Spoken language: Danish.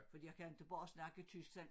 Fordi jeg kan inte bare snakke tysk sådan